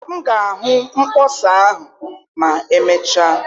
M ga-ahụ mkpọsa ahụ ma emechaa